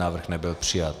Návrh nebyl přijat.